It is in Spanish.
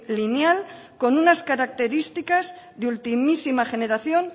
lineal con unas características de ultimísima generación